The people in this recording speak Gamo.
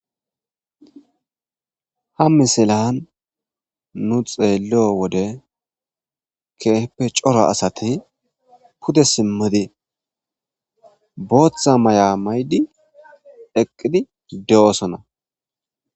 ha misilan nu xeello wode keeheppe cora asati pude simmidi booththa maya maydi eqqidi de7osona